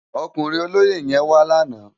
Ókúrin ólóyé yèn wá làná